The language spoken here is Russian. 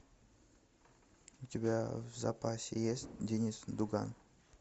у тебя в запасе есть денис дуган